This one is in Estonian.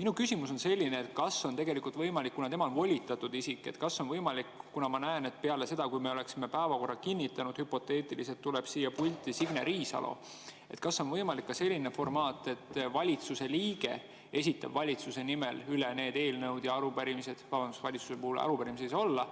Minu küsimus on selline, kas on ka võimalik selline formaat – kuna ma näen, et kui me oleks hüpoteetiliselt päevakorra kinnitanud, oleks peale seda tulnud siia pulti Signe Riisalo –, et valitsuse liige esitab valitsuse nimel need eelnõud ja arupärimised – vabandust, valitsuse puhul arupärimisi ei saa olla